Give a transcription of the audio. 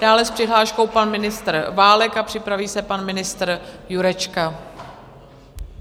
Dále s přihláškou pan ministr Válek a připraví se pan ministr Jurečka.